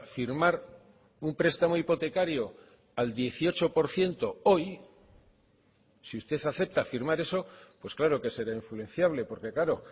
firmar un prestamo hipotecario al dieciocho por ciento hoy si usted acepta firmar eso pues claro que será influenciable porque claro